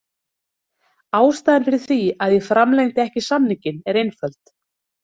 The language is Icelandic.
Ástæðan fyrir því að ég framlengdi ekki samninginn er einföld.